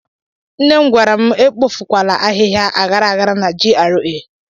Nne m gwara m ekpofukwala ahịhịa aghara aghara na GRA.